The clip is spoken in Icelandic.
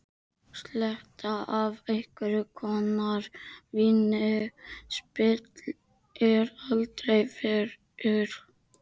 Sletta af einhvers konar víni spillir aldrei fyrir.